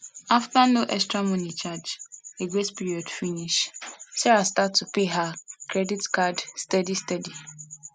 after no extra money charge the grace period finish sarah start to pay her credit card steady steady